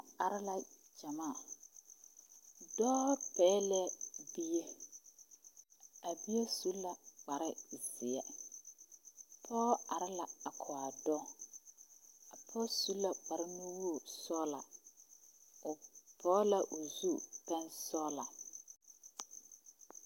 Ba are la gyamaa dɔɔ pɛglɛɛ bie a bie su la kparezeɛ pɔge are la a kɔge a dɔɔ a pɔge su la kparenuwogri sɔglaa o pɔge la o zu pɛnsɔglaa.